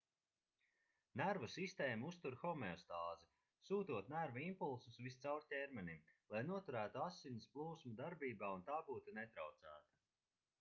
nervu sistēma uztur homeostāzi sūtot nervu impulsus viscaur ķermenim lai noturētu asins plūsmu darbībā un tā būtu netraucēta